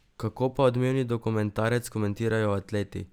Kako pa odmevni dokumentarec komentirajo atleti?